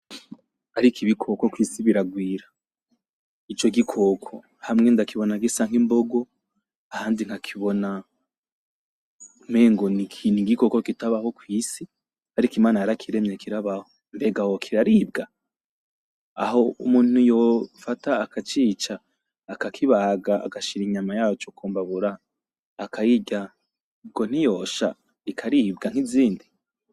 Ariko ibikoko kwisi biragwira ico gikoko hamwe ndakibona gisa nk'imbogo ahandi nkakibona umengo nigikoko kitabaho kwisi ariko imana yarakiremye kirabaho, mbega hoho kiraribwa? aho umuntu yofata akacica akakibaga agashira inyama yaco ku mbabura akayirya ubwo ntiyosha ikaribwa nkizindi.